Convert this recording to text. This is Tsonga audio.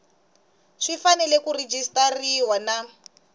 swi fanele ku rejistariwa na